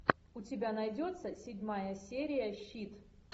у тебя найдется седьмая серия щит